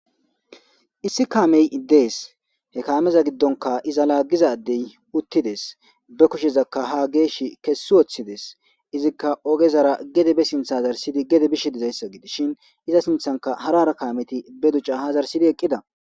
issi kaamey iddees he kaameza giddonka iza laaggizadey uttides be kushezakka ha geesh kessi woththides izikka ogezara gede be sintha hazarsidi gede bish dizayssa gidis shin iza sinthanka harara kameti be ducca ha zarsidi eqqida